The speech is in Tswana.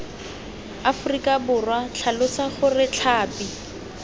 aforika borwa tlhalosa gore tlhapi